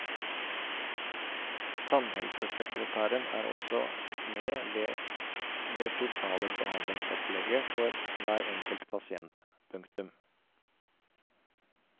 Tannhelsesekretæren er også med ved det totale behandlingsopplegget for hver enkelt pasient. punktum